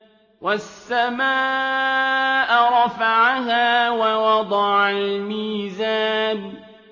وَالسَّمَاءَ رَفَعَهَا وَوَضَعَ الْمِيزَانَ